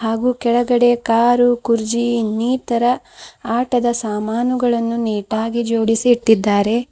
ಹಾಗೂ ಕೆಳಗಡೆ ಕಾರು ಕುರ್ಚಿ ಇನ್ನಿತರ ಆಟದ ಸಾಮಾನುಗಳನ್ನು ನೀಟಾಗಿ ಜೋಡಿಸಿ ಇಟ್ಟಿದ್ದಾರೆ.